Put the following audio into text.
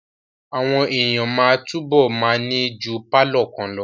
Àwọn èèyàn máa túbọ̀ ma ní ju pálọ̀ kan lọ